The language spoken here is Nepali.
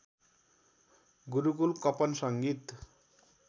गुरुकुल कपन संगीत